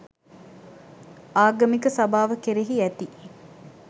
ආගමික සභාව කෙරෙහි ඇති